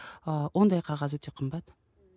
ы ондай қағаз өте қымбат